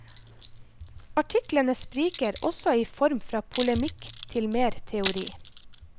Artiklene spriker også i form fra polemikk til mer teori.